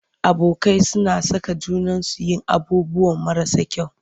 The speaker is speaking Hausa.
Abokai suna saka junansu yin abubuwan marasa kyau.